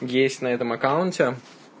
есть на этом аккаунте